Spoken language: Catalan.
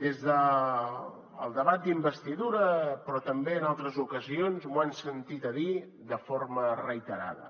des del debat d’investidura però també en altres ocasions m’ho han sentit dir de forma reiterada